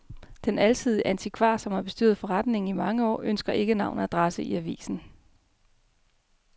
Den alsidige antikvar, som har bestyret forretningen i mange år, ønsker ikke navn og adresse i avisen.